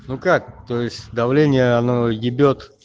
ну как то есть давление оно ебёт